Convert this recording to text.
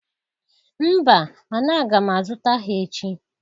Mba mana aga m azụta ha echi